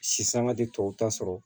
Sisanga de tɔw ta sɔrɔ